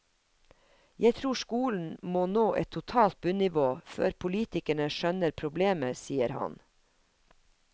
Jeg tror skolen må nå et totalt bunnivå før politikerne skjønner problemet, sier han.